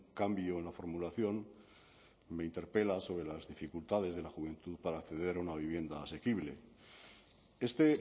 cambio en la formulación me interpela sobre las dificultades de la juventud para acceder a una vivienda asequible este